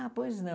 Ah, pois não.